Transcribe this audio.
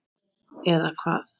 Eða hvað.?